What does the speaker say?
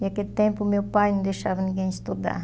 E, aquele tempo, meu pai não deixava ninguém estudar.